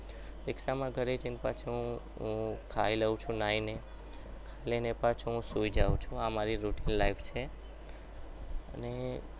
રિક્ષામાં ઘરે જઈને પાછો હું ખાઈ લઉં છું નાઈને અને પછી હું સુઈ જાવ છું આ મારી routinelife છે અને